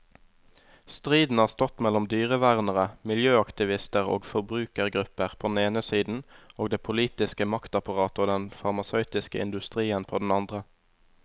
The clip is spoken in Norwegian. Striden har stått mellom dyrevernere, miljøaktivister og forbrukergrupper på den ene siden og det politiske maktapparatet og den farmasøytiske industrien på den andre.